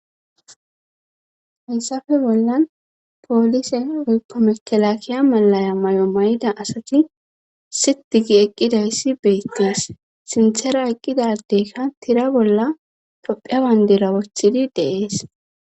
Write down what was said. hessappe bollan poolise oykko mekelakiya malaya may7o may7ida asati sitigi eqqidayssi beettes sinthera eqqidadeykka tira bolla topheabandira wochidi deees